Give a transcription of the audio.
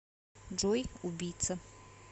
джой убийца